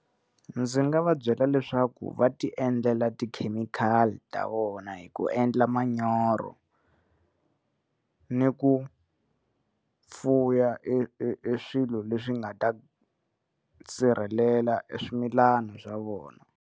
Ndzi nga va byela leswaku va ti endlela ti-chemical ta vona hi ku endla manyoro ni ku fuya e e e swilo leswi nga ta sirhelela e swimilana swa vona.